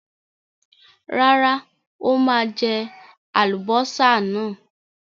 Rárá, ó máa jẹ àlùbọ́sà náà.